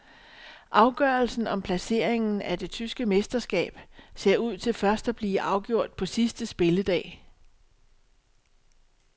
Afgørelsen om placeringen af det tyske mesterskab ser ud til først at blive afgjort på sidste spilledag.